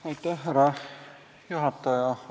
Austatud härra juhataja!